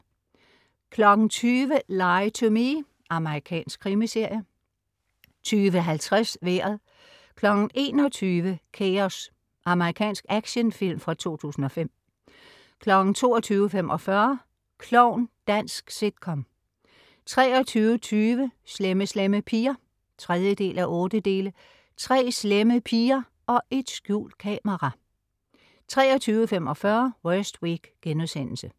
20.00 Lie to Me. Amerikansk krimiserie 20.50 Vejret 21.00 Chaos. Amerikansk actionfilm fra 2005 22.45 Klovn Dansk sitcom 23.20 Slemme Slemme Piger. 3:8 Tre slemme piger og et skjult kamera 23.45 Worst Week*